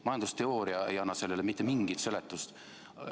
Majandusteooria ei anna sellele mitte mingisugust seletust.